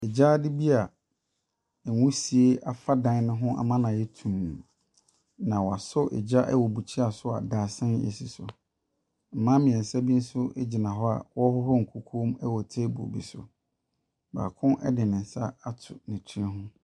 Gyaade bi a wusie afa dan no ho ama no ayɛ tumm, na wɔasɔ gya wɔ bukyia so a dadesɛn si so. Mmaa mmeɛnsa bi nso gyina hɔ a wɔrehohoro nkukuom wɔ table bi so. Baako de ne nsa ato ne tiri ho.